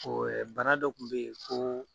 bana dɔ kun bɛ ye ko